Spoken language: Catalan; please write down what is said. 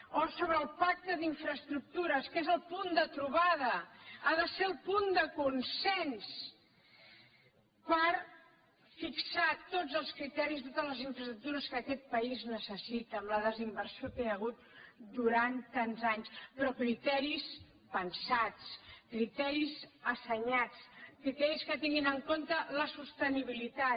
o sobre el pacte d’infraestructures que és el punt de trobada ha de ser el punt de consens per fixar tots els criteris totes les infraestructures que aquest país necessita amb la desinversió que hi ha hagut durant tants anys però criteris pensats criteris assenyats criteris que tinguin en compte la sostenibilitat